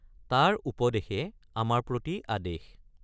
তাৰ উপদেশে আমাৰ প্ৰতি আদেশ।